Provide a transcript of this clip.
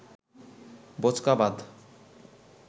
বোঁচকা বাঁধ